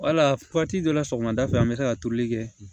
Wala waati dɔ la sɔgɔmada fɛ an bɛ se ka turuli kɛ